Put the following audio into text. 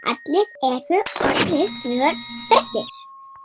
Náð, hvernig er veðrið í dag?